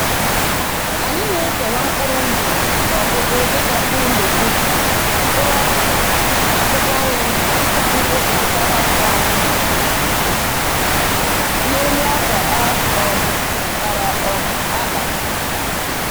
Anyị na-ekewa mkpụrụ ndụ n’ọgụgụ dịka mkpụrụ legume, mkpụrụ ọka, na akwụkwọ nri tupu anyị gosipụta ha um n’elu akwa a um kpara um akpa